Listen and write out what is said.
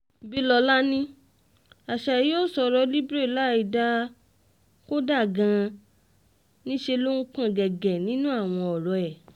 bílọ́lá ní asahi ò sọ̀rọ̀ libre láìdáa kódà gan-an níṣẹ́ ló ń pọ́n ọn gẹ́gẹ́ nínú àwọn ọ̀rọ̀ ẹ̀